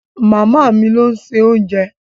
Màmá mi ló ń se oúnjẹ.